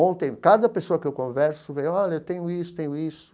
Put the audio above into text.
Ontem, cada pessoa que eu converso, vem, olha, eu tenho isso, tenho isso.